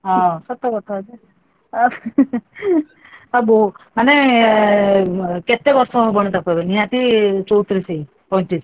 ହଁ ସତକଥା ଅ ମାନେ କେତେ ବର୍ଷ ହବନି ତାକୁ ଏବେ, ନିହାତି ଚଉତିରିଶ କି ପଇଁତିରିଶ?